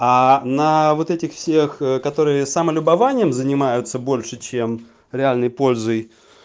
а на вот этих всех которые самолюбованием занимаются больше чем реальный пользой